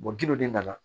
de nana